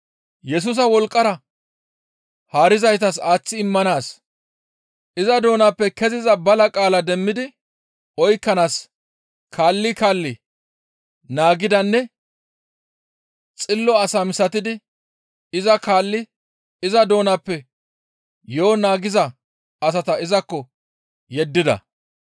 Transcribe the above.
Yesusa wolqqara haarizaytas aaththi immanaas iza doonappe keziza bala qaala demmidi oykkanaas kaalli kaalli naagidanne xillo asa misatidi iza kaalli iza doonappe yo7o naagiza asata izakko yeddida.